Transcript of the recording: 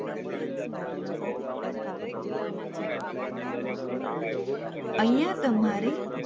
અહિયાં તમારે